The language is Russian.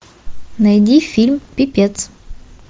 найди фильм пипец